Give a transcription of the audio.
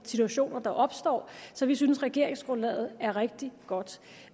situationer der opstår så vi synes regeringsgrundlaget er rigtig godt